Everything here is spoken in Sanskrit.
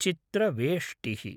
चित्रवेष्टिः